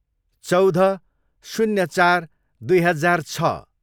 चौध, शून्य चार, दुई हजार छ